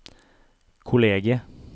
kollegiet